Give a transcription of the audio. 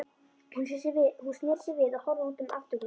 Hún sneri sér við og horfði út um afturgluggann.